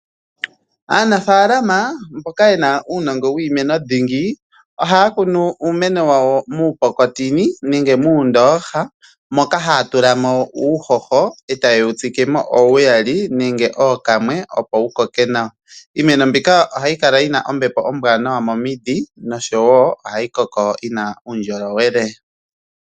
Aanafalama mboka yena uunongo wiimeno dhingi ohaya kunu iimeno wawo mupokopoko nenge mundooha moka haya tula mo uuhoho etaya tsikemo owuyaali nenge okamwe opo wukoke nawa .Iimeno mbika ohayi kala yina ombepo ombwanawa momiidhi noshowo ohayi koko yina uundjolowele.